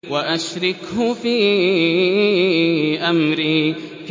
وَأَشْرِكْهُ فِي أَمْرِي